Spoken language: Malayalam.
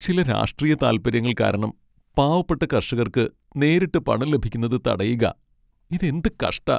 ചില രാഷ്ട്രീയ താൽപ്പര്യങ്ങൾ കാരണം പാവപ്പെട്ട കർഷകർക്ക് നേരിട്ട് പണം ലഭിക്കുന്നത് തടയുകാ. ഇതെന്ത് കഷ്ടാ!